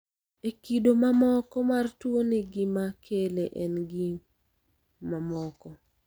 E kido ma moko mar tuo ni gima kele en gin mamoko.